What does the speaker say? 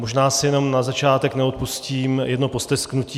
Možná si jenom na začátek neodpustím jedno postesknutí.